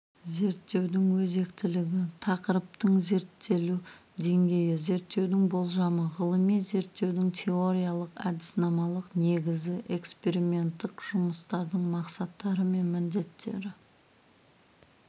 зерттеудің өзектілігі тақырыптың зерттелу деңгейі зерттеудің болжамы ғылыми зерттеудің теориялық-әдіснамалық негізі эксперименттік жұмыстардың мақсаттары мен міндеттері